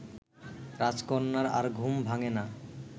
রাজকন্যার আর ঘুম ভাঙ্গে না